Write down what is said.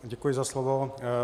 Děkuji za slovo.